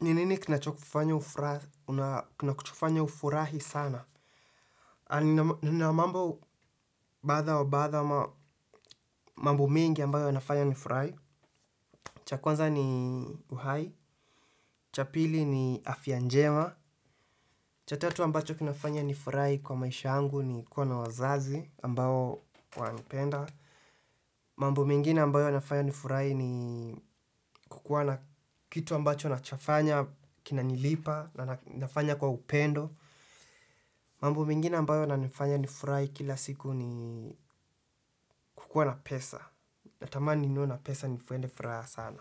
Ninini kinacho kufanya ufurahi sana? Baadha wa baadha mambo mengi ambayo yafanya nifurai. Cha kwanza ni uhai. Cha pili ni afya njema. Cha tatu ambacho kinafanya nifurahi kwa maisha yangu ni kuwa na wazazi ambao wanipenda. Mambo mengine ambayo yanafanya nifurahi ni kukuwa na kitu ambacho nachofanya kinanilipa na nafanya kwa upendo. Mambo mengine ambayo yanifanya nifurahi kila siku ni kukua na pesa. Natamani niwe na pesa ni fuende furaha sana.